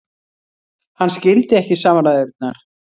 Hann skildi ekki samræðurnar.